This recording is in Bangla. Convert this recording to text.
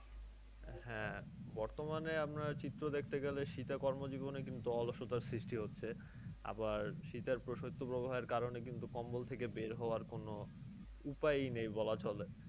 হ্যাঁ বর্তমানে আমরা চিত্র দেখতে গেলে শীতে কর্মজীবনে কিন্তু অলসতার সৃষ্টি হচ্ছে। আবার আমার শীতের বা শৈত্যপ্রবাহের কারণে কম্বল থেকে বের হওয়ার কোন উপায়ই নেই বলা চলে।